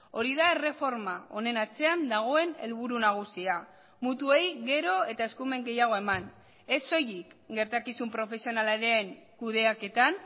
hori da erreforma honen atzean dagoen helburu nagusia mutuei gero eta eskumen gehiago eman ez soilik gertakizun profesionalaren kudeaketan